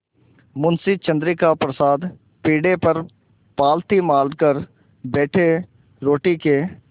मुंशी चंद्रिका प्रसाद पीढ़े पर पालथी मारकर बैठे रोटी के